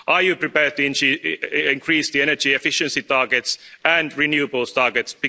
Are you prepared to increase the energy efficiency targets and renewables targets?